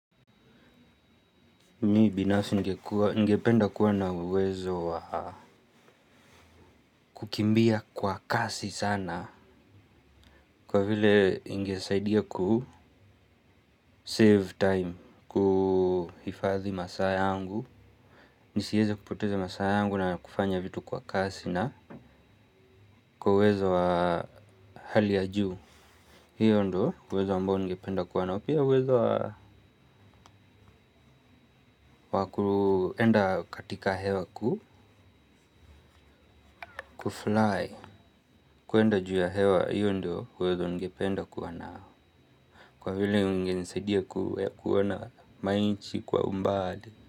Mimi binafsi ningependa kuwa na uwezo wa kukimbia kwa kasi sana. Kwa vile ingesaidia ku save time. Kuhifadhi masaa yangu nisiweze kupoteza masaa yaangu na kufanya vitu kwa kasi na kwa uwezo wa hali ya juu hio ndio uwezo ambao ningependa kuwa nao pia uwezo wa wa kuenda katika hewa ku Kufly. Kuenda juu ya hewa. Hio ndio uwezo ningependa kuwa nao. Kwa vile ingenisaidia kuona ma nchi kwa umbali.